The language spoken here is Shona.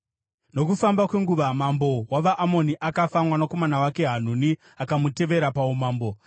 Nokufamba kwenguva mambo wavaAmoni akafa, mwanakomana wake Hanuni akamutevera paumambo.